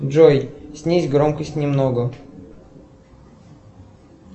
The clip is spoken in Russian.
джой снизь громкость немного